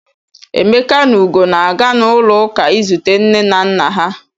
Emeka na Ugo na-aga n'ụlọụka izute nne na nna ha.